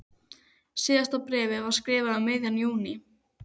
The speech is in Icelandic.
Síðasta bréfið var skrifað um miðjan júní.